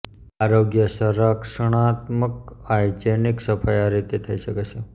આરોગ્યસંરક્ષણાત્મક hygienic સફાઈ આ રીતે થઈ શકે છે